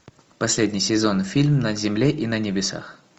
последний сезон фильм на земле и на небесах